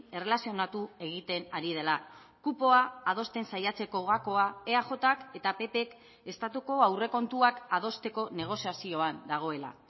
erlazionatu egiten ari dela kupoa adosten saiatzeko gakoa eajk eta ppk estatuko aurrekontuak adosteko negoziazioan dagoela